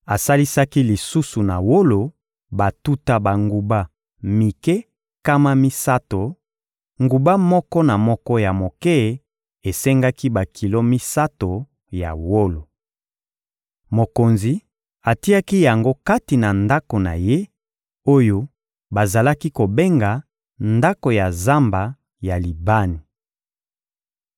Asalisaki lisusu na wolo batuta banguba mike nkama misato; nguba moko na moko ya moke esengaki bakilo misato ya wolo. Mokonzi atiaki yango kati na ndako na ye, oyo bazalaki kobenga «ndako ya zamba ya Libani.»